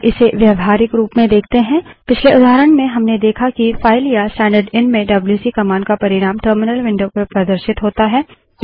अब इसे व्यावहारिक रूप में देखते हैं पिछले उदाहरण में हमने देखा कि फाइल या स्टैंडर्डएन में डब्ल्यूसी कमांड का परिणाम टर्मिनल विंडो पर प्रदर्शित होता है